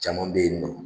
Caman bɛ yen nɔ